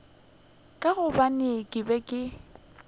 ka gobane ke be ke